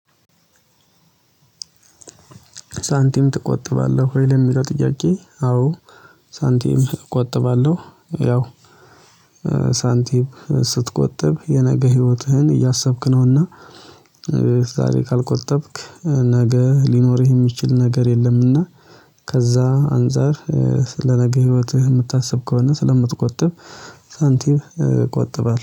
ሳንቲም ትቆጥባለህ ወይ? ለሚጠው ጥያቄ አዎ ሳንቲም እቆጥባለሁ። ያው ሳንቲም ስትቆጥብ የነገ ህይወትህን እያሰብክ ነውና፤ በዛሬ ካልቆጠብክ ነገ ሊኖርህ የሚችል ነገር የለም። እና ከዛ አንፃር ስለ ነገ ህይወትህ የምታስብ ከሆነ ስለምትቆጥብ ሳንቲም እቆጥባለው።